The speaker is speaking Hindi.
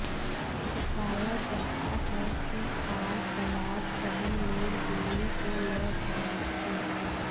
बताया जाता है कि कार सवार सभी लोग दिल्ली से लौट रहे थे